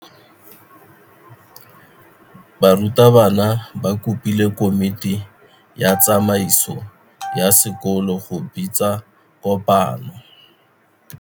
Burutabana ba kopile komiti ya tsamaiso ya sekolo go bitsa kopano.